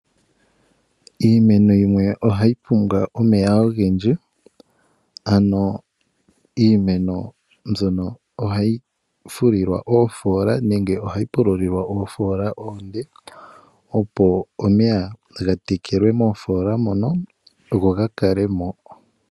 Iimeno yimwe ohayi pumbwa omeya ogendji ano iimeno mbono ohayi pululilwa oofola oonde opo omeya gatekelwemo moofola mono go gakalemo.